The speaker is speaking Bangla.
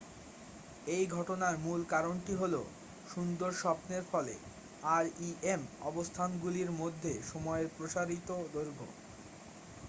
এই ঘটনার মূল কারণটি হলো সুন্দর স্বপ্নের ফলে rem অবস্থাগুলির মধ্যে সময়ের প্রসারিত দৈর্ঘ্য